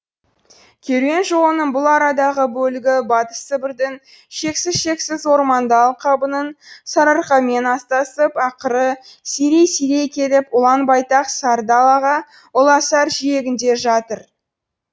керуен жолының бұл арадағы бөлігі батыс сібірдің шексіз шексіз орманды алқабының сарыарқамен астасып ақыры сирей сирей келіп ұланбайтақ сары далаға ұласар жиегінде жатыр